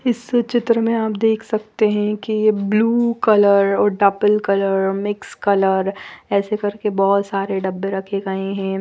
इस चित्र में आप देख सकते है कि ये ब्लू कलर और डबल कलर मिक्स कलर ऐसे कर के बहोत सारे डब्बे रखे गए है।